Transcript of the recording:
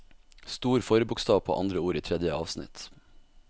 Stor forbokstav på andre ord i tredje avsnitt